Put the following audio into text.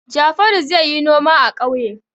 Jafaru zai yi noma a ƙauye.